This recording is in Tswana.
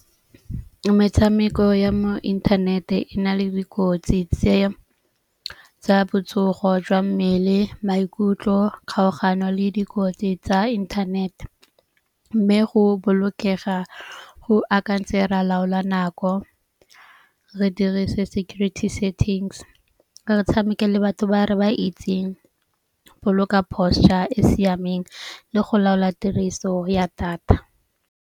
Metshameko ya mo inthanete e na le dikotsi tsa botsogo jwa mmele, maikutlo, kgaogano le dikotsi tsa inthanete. Mme go bolokega go akantseng ra laola nako re dirise security settings. Re tshameke le batho ba re ba itseng, boloka posture e siameng le go laola tiriso ya data.